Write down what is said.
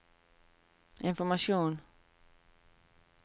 informasjon